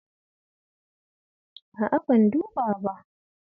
A'a ban duba ba.